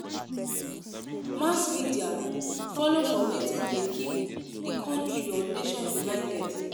Mass media follow for wetin de keep di country or nation United